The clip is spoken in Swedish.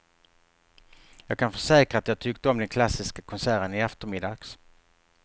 Jag kan försäkra att jag tyckte om den klassiska konserten i eftermiddags.